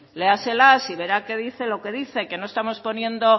léaselas y verá que dice lo que dice que no estamos poniendo